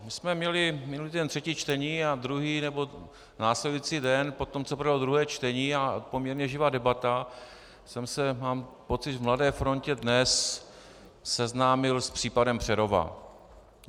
My jsme měli minulý týden třetí čtení a druhý nebo následující den po tom, co proběhlo druhé čtení a poměrně živá debata, jsem se mám pocit v Mladé frontě Dnes seznámil s případem Přerova.